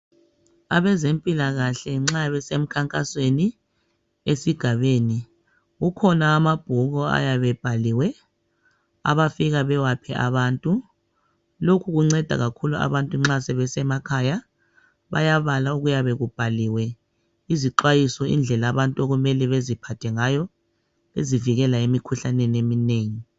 Abazempilakahle nxa besemkhankasweni esigabeni kukhona amabhuku ayabe ebhaliwe abafika bewaphe abantu lokhu kunceda kakhulu abantu nxa sebesemakhaya bayabala okuyabe kubhaliwe izixwayiso indlela abantu okumele beziphathe ngayo bezivikela emikhuhlaneni eminengi.